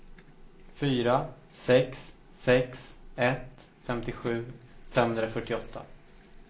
fyra sex sex ett femtiosju femhundrafyrtioåtta